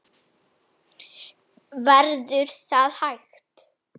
Verður það hægt?